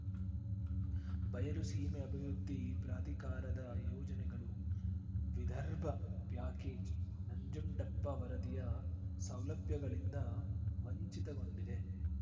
ಬಯಲು ಸೀಮೆ ಅಭಿವೃದ್ಧಿ ಪ್ರಾಧಿಕಾರದ ಯೋಜನೆಗಳು ವಿದರ್ಭ ಪ್ಯಾಕೇಜ್‌ ನಂಜುಂಡುಪ್ಪ ವರದಿಯ ಸೌಲಭ್ಯಗಳಿಂದ ವಂಚಿತಗೊಂಡಿದೆ